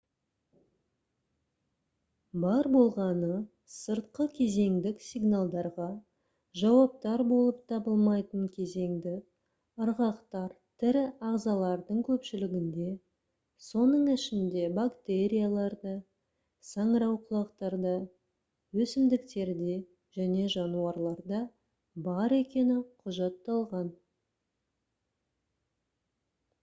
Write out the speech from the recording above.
бар болғаны сыртқы кезеңдік сигналдарға жауаптар болып табылмайтын кезеңді ырғақтар тірі ағзалардың көпшілігінде соның ішінде бактерияларда саңырауқұлақтарда өсімдіктерде және жануарларда бар екені құжатталған